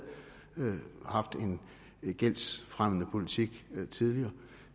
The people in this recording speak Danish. haft en gældsfremmende politik tidligere